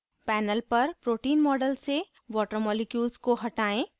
panel पर protein model से water molecules को हटायें